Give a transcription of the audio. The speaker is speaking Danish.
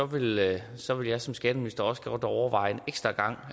vil jeg som jeg som skatteminister også godt overveje en ekstra gang